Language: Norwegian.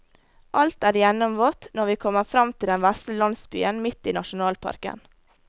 Alt er gjennomvått når vi kommer frem til den vesle landsbyen midt i nasjonalparken.